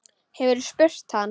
Hefurðu spurt hann?